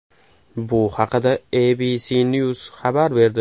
Bu haqda ABCNews xabar berdi .